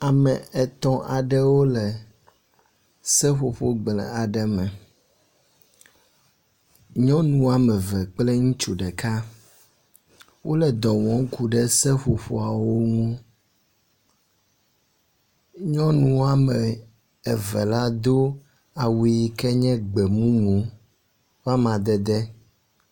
Ame etɔ̃ aɖewo le seƒoƒo gble aɖe me. Nyɔnu ame eve kple ŋutsu ɖeka wo le dɔ wɔm ku ɖe seƒoƒoawo ŋu. Nyɔnu ame eve la do awu yi ke nye gbemumu wɔ amadede.